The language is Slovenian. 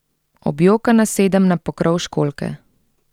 Objokana sedem na pokrov školjke.